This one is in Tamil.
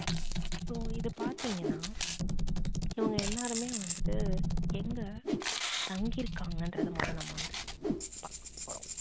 so இத பாத்தீங்கன்னா இவங்க so எல்லாருமே வந்துட்டு எங்க தங்கி இருக்காங்கன்றத முதல நம்ம வந்து பாக்க போறோம்.